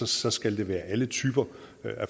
så skal det være alle typer